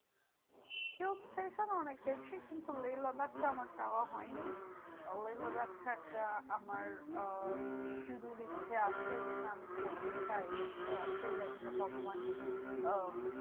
অনেক গেছি কিন্তু লেহ লাদাখটা আমার যাওয়া হয়নি। লেহ লাদাখটা একটা আমার আহ ইচ্ছে আছে যেটা আমি করতে চাই। কি আছে জানিনা ভগবান আহ